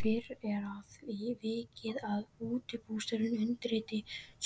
Fyrr er að því vikið að útibússtjóri undirriti